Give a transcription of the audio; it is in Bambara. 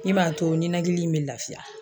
Min b'a to ninakili in bɛ lafiya.